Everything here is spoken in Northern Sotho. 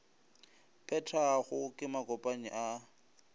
phethwago ke makopanyi a a